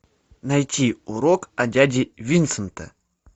найти урок от дяди винсента